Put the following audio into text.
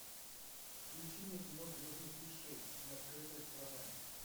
включи мне кино звездный путь шесть неоткрытая страна